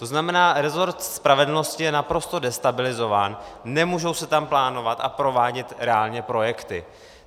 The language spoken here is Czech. To znamená, rezort spravedlnosti je naprosto destabilizován, nemůžou se tam plánovat a provádět reálně projekty.